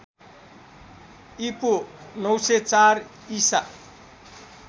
ईपू ९०४ ईसा